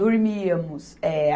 Dormíamos. Eh